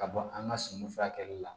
Ka bɔ an ka suman furakɛli la